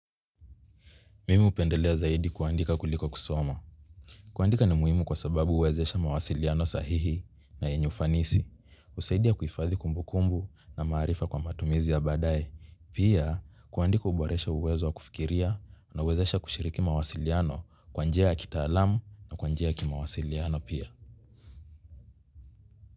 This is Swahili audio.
Mimi hupendelea zaidi kuandika kuliko kusoma. Kuandika ni muhimu kwa sababu huwezesha mawasiliano sahihi na yenye ufanisi. Husaidia kuhifadhi kumbukumbu na maarifa kwa matumizi ya baadaye. Pia kuandika huboresha uwezo wa kufikiria na huwezesha kushiriki mawasiliano kwa njia ya kitaalam na kwa njia ya kimawasiliano pia.